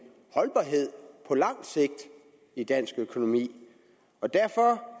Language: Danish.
holdbarhed på lang sigt i dansk økonomi og derfor